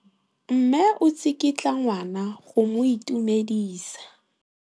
Mme o tsikitla ngwana go mo itumedisa.